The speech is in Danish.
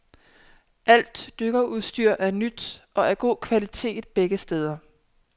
Alt dykkerudstyr er nyt og af god kvalitet begge steder.